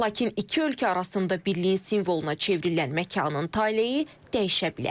Lakin iki ölkə arasında birliyin simvoluna çevrilən məkanın taleyi dəyişə bilər.